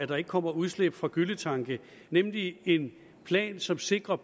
der ikke kommer udslip fra gylletanke nemlig en plan som sikrer